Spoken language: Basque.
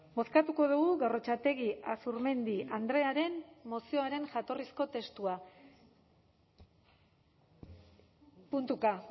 bozkatuko dugu gorrotxategi azurmendi andrearen mozioaren jatorrizko testua puntuka